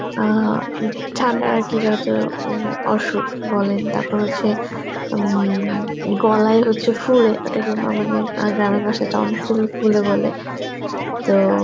অ্যাঁ ঠান্ডার আর কি যত উম অসুখ বলেন তারপর হচ্ছে উম গলায় হচ্ছে ফোলে ওটাকে আমাদের আ গ্রামের ভাষায় tonsil ফোলে বলে. তো